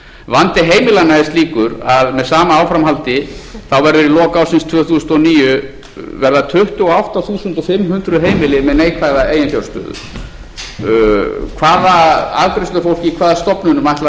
sama áframhaldi verða í lok ársins tvö þúsund og níu tuttugu og átta þúsund fimm hundruð heimili með neikvæða eiginfjárstöðu hvaða afgreiðslufólk í hvaða stofnunum ætlar